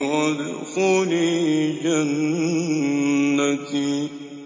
وَادْخُلِي جَنَّتِي